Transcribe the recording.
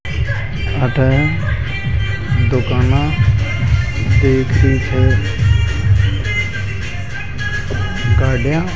आता है दुकाना देखी है गाड़ियां